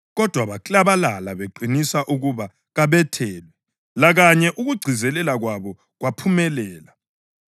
Kodwa baklabalala beqinisa ukuba kabethelwe, lakanye ukugcizelela kwabo kwaphumelela.